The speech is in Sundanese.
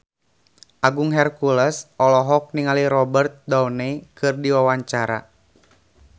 Agung Hercules olohok ningali Robert Downey keur diwawancara